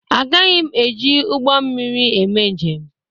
Agaghị m eji ụgbọ mmiri eme njem.